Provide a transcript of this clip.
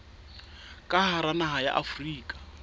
ka hara naha ya afrika